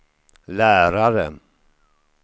lärare